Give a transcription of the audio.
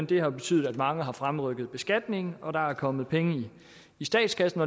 det har betydet at mange har fremrykket beskatningen og at der er kommet penge i statskassen